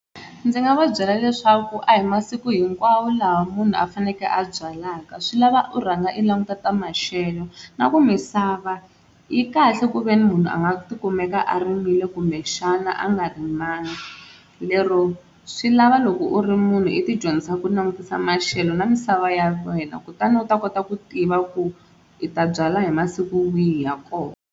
Ndzi nga va byela leswaku a hi masiku hinkwawo lawa munhu a fanekele a byalaka swi lava u rhanga u languta ta maxelo. Na ku misava yi kahle kuveni munhu a nga tikumeka a rimile kumbexana a nga rimanga lero swi lava loko u ri munhu i ti dyondzisa ku langutisa maxelo na misava ya wena kutani u ta kota ku tiva ku i ta byala hi masiku wihi ya kona.